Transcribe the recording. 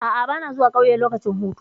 A'a, ba na zuwa ƙauye lokacin hutu.